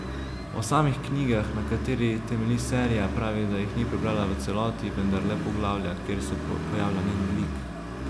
O samih knjigah, na kateri temelji serija, pravi, da jih ni prebrala v celoti, vendar le poglavja, kjer se pojavlja njen lik.